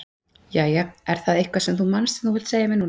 Jæja, er það eitthvað sem þú manst sem þú vilt segja mér núna?